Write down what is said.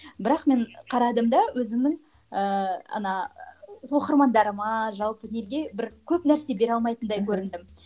бірақ мен қарадым да өзімнің ііі ана оқырмандарыма жалпы неге бір көп нәрсе бере алмайтындай көріндім